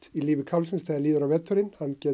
í lífi kálfsins þegar líður á veturinn